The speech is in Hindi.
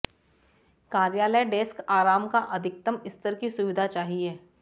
कार्यालय डेस्क आराम का अधिकतम स्तर की सुविधा चाहिए